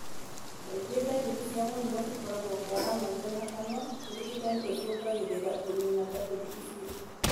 Kaingĩ ndariri cia mũrimũ cikoragwo kwara maitho na kanua, ũrigiti ũcũngangĩrĩra kũnina ndariri icio.